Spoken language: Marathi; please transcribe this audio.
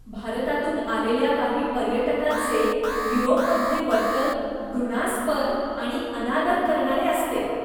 भारतातून आलेल्या काही पर्यटकांचे युरोपमधले वर्तन घृणास्पद आणि अनादर करणारे असते.